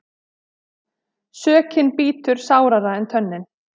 Sökin bítur sárara en tönnin.